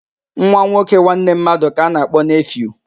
Nwa nwoke nwanne mmadụ ka a na-akpọ neefiu